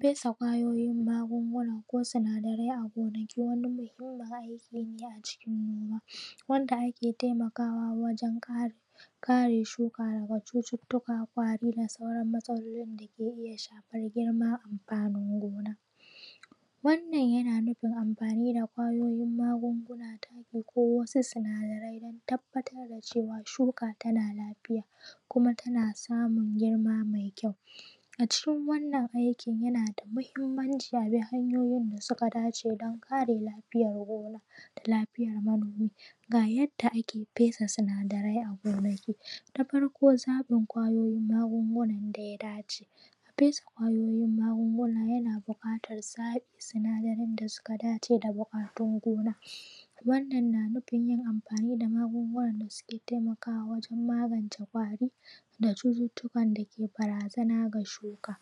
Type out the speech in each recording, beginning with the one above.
fesa ƙwayoyin magunguna ko sinadarai a gonaki wanda wani muhimmin aiki ne a cikin noma wanda ake taimakawa wajan kare shuka daga cututtuka ƙwari da sauran matsaloli da ke iya shafar girma amfanin gona wannan yana nufin amfani da ƙwayoyin magunguna da ake ko wasu sinadarai don tabbatar da cewa shuka tana lafiya kuma tana samun girma mai kyau a cikin wannan aikin yana da muhimmanci a bi hanyoyin da suka dace don kare lafiyar gona da lafiyar manomi ga yadda ake fesa sinadarai a gonaki ta farko zaɓin ƙwayoyin magungunan da ya dace fesa ƙwayoyin magunguna yana buƙatan zaɓin sinadarai da suka dace da buƙatun gona wannan na nufin yin amfani da magunguna da suke taimakawa wajan magance ƙwari da cututtukan da ke barazana ga shuka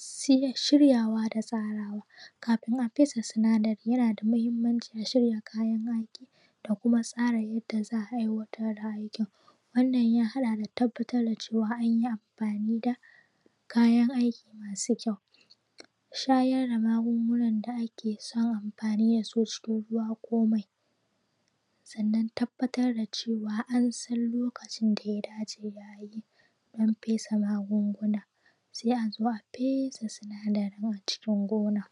sai shiryawa da tsarawa kafin a fesa sinadarai yana da muhimmanci a shirya kayan aiki da kuma tsara yadda za a aiwatar da aiki wannan ya haɗa da tabbatar da cewa anyi amfani da kayan aiki masu kyau shayar da magunguna da ake son amfani da su cikin ruwa ko mai sannan tabbatar da cewa an san lokacin da ya dace da abi don fesa magunguna sai a zo a fesa sinadarai a cikin gona